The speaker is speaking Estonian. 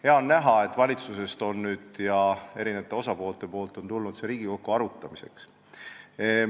Hea on näha, et valitsuselt ja erinevatelt osapooltelt on see teema nüüd Riigikokku arutamiseks tulnud.